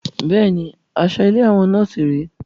Bẹ́ẹ̀ni, aṣọ ilé àwọn nọ́ọ̀sì rè é